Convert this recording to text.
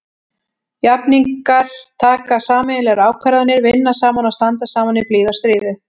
Jafningjar taka sameiginlegar ákvarðanir, vinna saman og standa saman í blíðu og stríðu.